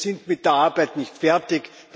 Wir sind mit der Arbeit nicht fertig.